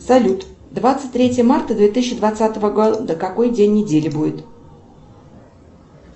салют двадцать третье марта две тысячи двадцатого года какой день недели будет